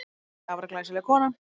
Þórey, afar glæsileg kona.